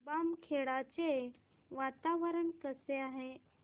बामखेडा चे वातावरण कसे आहे